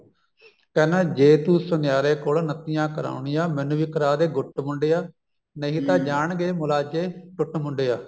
ਕਹਿੰਦਾ ਜੇ ਤੂੰ ਸੁਨਿਆਰੇ ਕੋਲ ਨੱਤੀਆਂ ਕਰਾਉਣੀਆ ਮੈਨੂੰ ਵੀ ਕਰਾਦੇ ਗੁੱਟ ਮੁੰਡਿਆ ਨਹੀਂ ਤਾਂ ਜਾਣਗੇ ਮੁਲਾਜੇ ਟੁੱਟ ਮੁੰਡਿਆ